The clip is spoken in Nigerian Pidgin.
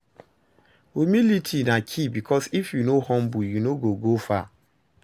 humility na key bikos if yu no humble yu no go go far